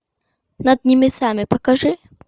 над небесами покажи